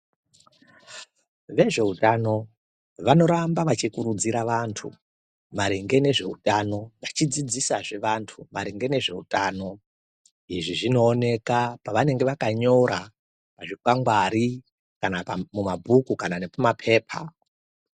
Vezveutano vanoramba vachikurudzira vantu maringe ngezveutano vachivadzidzisazve vantu maringe nezveutano. Izvi zvinooneka pavanenge vakanyora pazvikwangwari kana pamabhuku kana nepamapepa.